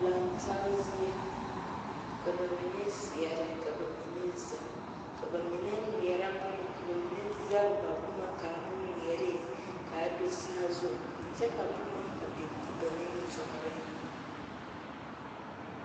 Laŋe taa zie ka ba mine seɛre ka ba mine zeŋ ka ba mine ŋmeɛre boma ka ba mine zage ba boma ka do a saazu kyɛ ka boma biŋ a ba nimitɔreŋ